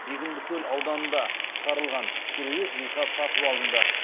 егіндікөл ауданында шығарылған кереует жиһаз сатып алынды